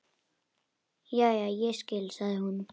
Jæja, ég skil, sagði hún.